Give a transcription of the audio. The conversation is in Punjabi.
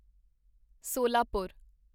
ਸੋਲਾਪੁਰ